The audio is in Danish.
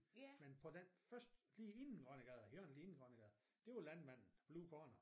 Men på den første lige inden Grønnegade hjørnet lige inden Grønnegade det var landmanden Blue Corner